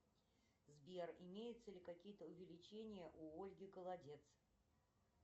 сбер имеются ли какие то увеличения у ольги голодец